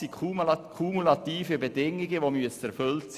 Hier müssen also kumulative Bedingungen erfüllt sein.